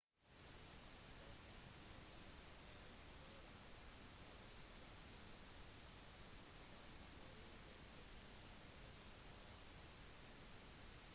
der fant de liket av saroja balasubramanian 53 dekket med blodige tepper